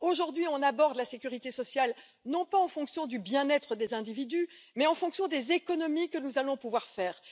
Aujourd'hui, on aborde la sécurité sociale, non pas en fonction du bien être des individus, mais en fonction des économies que nous allons pouvoir faire.